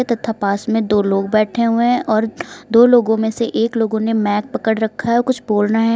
तथा पास में दो लोग बैठे हुए हैं और दो लोगों में से एक लोगों ने मैक पकड़ रखा है औ कुछ बोल रहे --